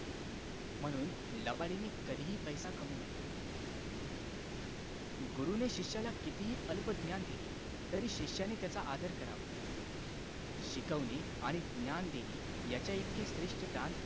म्हणून लबाडीने कधी पैसा कमउ नये गुरुने शिष्याला कितीही अल्पज्ञान दिले तरी शिष्याने त्याचा आदर करावा शिकवणे आणि ज्ञान देणे याच्या इतके श्रेष्ठ दान